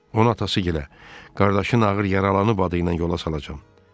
Ona atası gilə, qardaşın ağır yaralanıb adı ilə yola salacam.